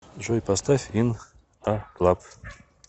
джой поставь ин а клаб